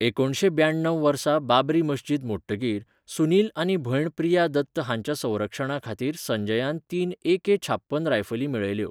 एकुणशें ब्याण्णव वर्सा बाबरी मस्जिद मोडटकीर, सुनील आनी भयण प्रिया दत्त हांच्या संरक्षणा खातीर संजयान तीन ए के छाप्पन रायफली मेळयल्यो.